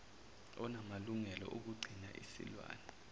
onamalungelo okugcina isilwane